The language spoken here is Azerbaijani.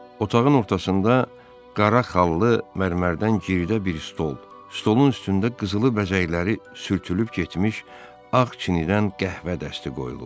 Otağın ortasında qara xallı mərmərdən giridə bir stol, stolun üstündə qızılı bəzəkləri sürtülüb getmiş ağ çinidən qəhvə dəsti qoyulub.